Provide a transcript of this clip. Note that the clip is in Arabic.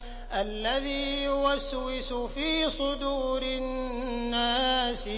الَّذِي يُوَسْوِسُ فِي صُدُورِ النَّاسِ